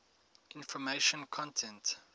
information content